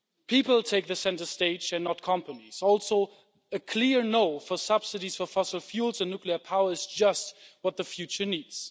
People take centre stage and not companies, also a clear no' for subsidies for fossil fuels and nuclear power is just what the future needs.